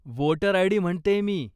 Voter ID. म्हणतेय मी.